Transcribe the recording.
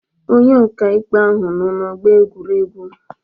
Onye ọka ikpe ahụ nọọ n'ọgbọ egwuregwu